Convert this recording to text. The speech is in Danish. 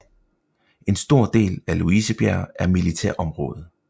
En stor del af Louisebjerg er militærområde